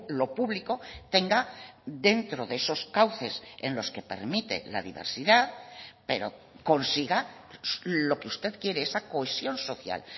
lo público tenga dentro de esos cauces en los que permite la diversidad pero consiga lo que usted quiere esa cohesión social